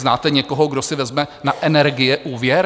Znáte někoho, kdo si vezme na energie úvěr?